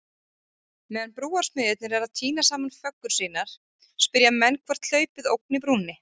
Meðan brúarsmiðirnir eru að týna saman föggur sínar, spyrja menn hvort hlaupið ógni brúnni?